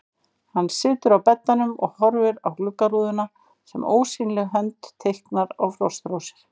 Hann situr á beddanum og horfir á gluggarúðuna sem ósýnileg hönd teiknar á frostrósir.